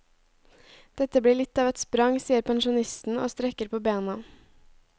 Dette blir litt av et sprang, sier pensjonisten og strekker på bena.